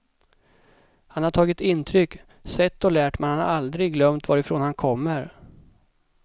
Han har tagit intryck, sett och lärt men han har aldrig glömt varifrån han kommer.